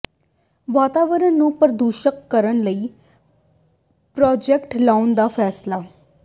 ਵਾਤਾਵਰਣ ਨੂੰ ਪ੍ਰਦੂਸ਼ਣਮੁਕਤ ਕਰਨ ਲਈ ਪ੍ਰਾਜੈਕਟ ਲਾਉਣ ਦਾ ਫੈਸਲਾ